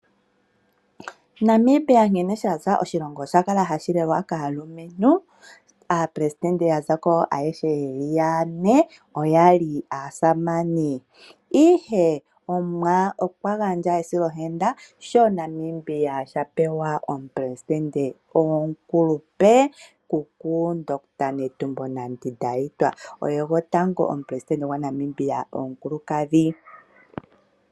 Namibia nkene sha za, oshilongo osha kala hashi lelwa kaalumentu. Aapelesitende ayehe ya za ko ye li yane oya li aasamane. Ihe Namibia okwa li a silwa ohenda sho a pewa omupelesitende gwomukulupe: kuku ndohotola Netumbo Nandi-Ndaitwah, gwotango omupelesitende gwaNamibia omukulukadhi.